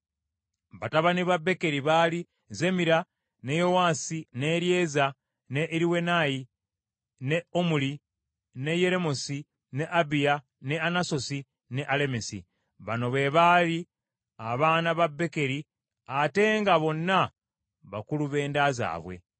Batabani ba Bekeri baali Zemira, ne Yowaasi, ne Eryeza, ne Eriwenayi, ne Omuli, ne Yeremosi, ne Abiya, ne Anasosi ne Alemesi. Bano be baali abaana ba Bekeri ate nga bonna bakulu b’enda zaabwe.